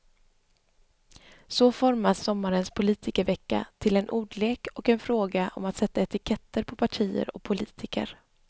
Så formas sommarens politikervecka till en ordlek och en fråga om att sätta etiketter på partier och politiker.